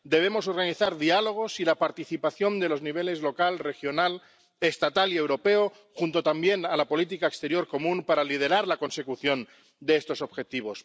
Debemos organizar diálogos y contar con la participación de los niveles local, regional, estatal y europeo para, junto con la política exterior común, liderar la consecución de estos Objetivos.